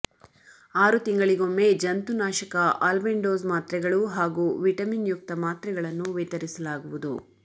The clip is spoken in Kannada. ಆರು ತಿಂಗಳಿಗೊಮ್ಮೆ ಜಂತು ನಾಶಕ ಅಲ್ಬೆಂಡೋಸ್ ಮಾತ್ರೆಗಳು ಹಾಗೂ ವಿಟಮಿನ್ಯುಕ್ತ ಮಾತ್ರೆಗಳನ್ನು ವಿತರಿಸಲಾಗುವದು